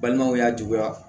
Balimaw y'a juguya